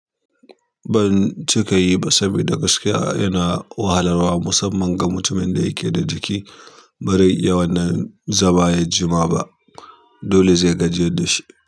Ban cika yi ba, saboda gaskiya yana wahalarwa musamman ga mutumin da yake da jiki bare iya wannan zama ya jima ba. Dole zai gajiyar da shi.